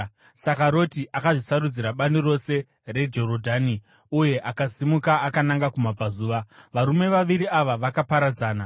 Saka Roti akazvisarudzira bani rose reJorodhani uye akasimuka akananga kumabvazuva. Varume vaviri ava vakaparadzana: